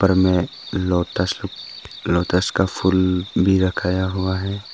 ऊपर में lotus lotus का फूल भी रखाया हुआ है।